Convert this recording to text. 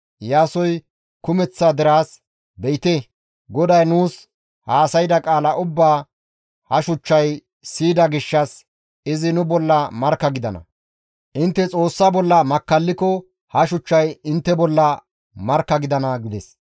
Iyaasoy kumeththa deraas, «Be7ite; GODAY nuus haasayda qaala ubbaa ha shuchchay siyida gishshas izi nu bolla markka gidana. Intte Xoossa bollan makkalliko ha shuchchay intte bolla markka gidana» gides.